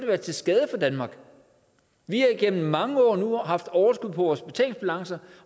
være til skade for danmark vi har igennem mange år nu haft overskud på vores betalingsbalance